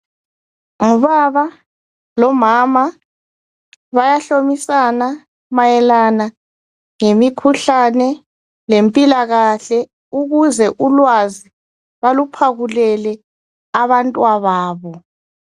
Ngubaba lo mama bayahlomisana mayelana ngemikhuhlane lempilakahle Ukuze ulwazi baluphakulele abantwababo